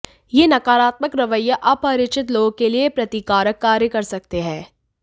यह नकारात्मक रवैया अपरिचित लोगों के लिए प्रतिकारक कार्य कर सकते हैं